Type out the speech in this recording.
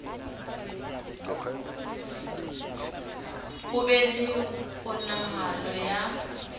ho be le kgonahalo ya